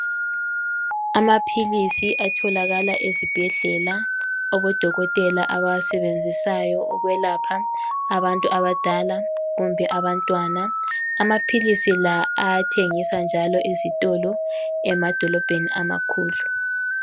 Amaphilisi atholakala ezibhedlela, odokotela abawasebenzisayo ukwelapha abantu abadala kumbe abantwana, amaphilisi la ayathengiswa njalo ezitolo emadolobheni amakhulu.